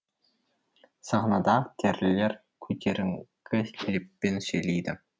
сахнада актерлер көтеріңкі леппен сөйлейді